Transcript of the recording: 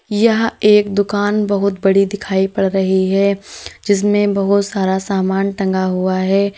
यह एक दुकान बहुत बड़ी दिखाई पड़ रही है जिसमें बहुत सारा सामान टंगा हुआ है।